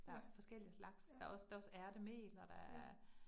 Ja. Ja. Ja